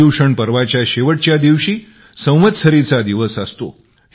पर्युषण पर्वाच्या शेवटच्या दिवशी संवत्सरीचा दिवस असतो